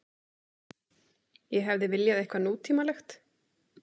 Ég hefði viljað eitthvað nútímalegt.